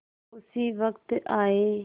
उसी वक्त आये